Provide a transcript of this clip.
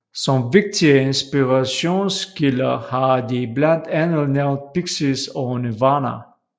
Som vigtige inspirationskilder har de blandt andet nævnt Pixies og Nirvana